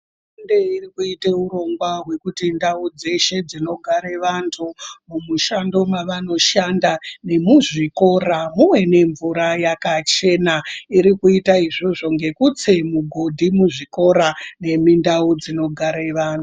Hurumende irikuite urongwa hwekuti ndau dzeshe dzinogare vantu, mumishando mweshe mwavanoshanda nemuzvikora muve nemvura yakachena, irikuite izvozvo ngekutse migodhi muzvikora nemundau dzinogare vantu.